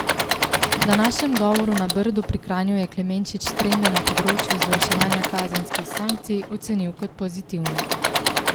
V današnjem govoru na Brdu pri Kranju je Klemenčič trende na področju izvrševanja kazenskih sankcij ocenil kot pozitivne.